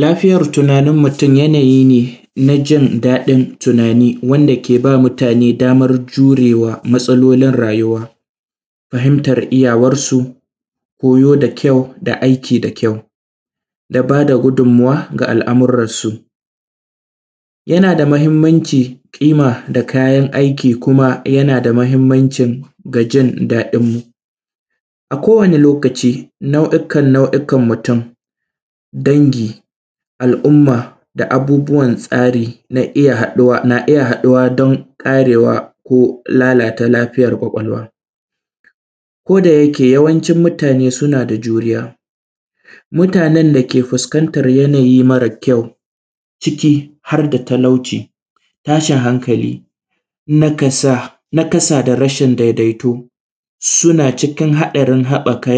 Lafiyar tunanin mutun yanayi ne najin daɗin tunani wanda ke ba mutane damar jurewa matsalolin rayuwa, fahimtar iyyawan su, koyo da kyau da aiki da kyau da bada gudun muwa ga al’amuran su. yana da mahimmanci ƙima da kayan aiki kuma yana da mahimammanci ga jin daɗin mu. A ko wani lokaci nau’ikan nau’ikan mutan, danji, al’umma da abubuwan tsari na iyya haɗuwa dan ƙarewa ko lalata lafiyan kwakwalwa, koda yake ya wancin mutane sunada juriya. Mutanen dake fuskantar yanayi mara kyau ciki harda talauci, tashin hankali, naƙasa da rashin daidai to suna cikin haɗarin haɓɓaka